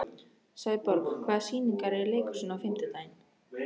Sæborg, hvaða sýningar eru í leikhúsinu á fimmtudaginn?